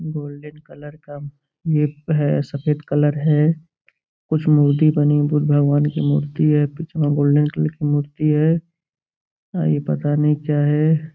Golden colour का है सफ़ेद कलर है। कुछ मूर्ति बनी बुद्ध भगवान की मूर्ति है पिछवां गोल्डन कलर की मूर्ति है। आ ई पता नही क्या है।